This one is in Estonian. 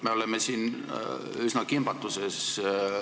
Me oleme siin üsna kimbatuses.